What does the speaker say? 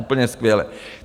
Úplně skvěle.